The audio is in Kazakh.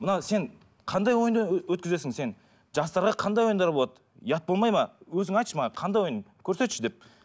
мынау сен қандай ойынды өткізесің сен жастарға қандай ойындар болады ұят болмайды ма өзің айтшы маған қандай ойын көрсетші деп